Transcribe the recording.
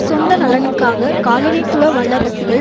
சொந்த நலனுக்காக காலனித்துவ வல்லரசுகள்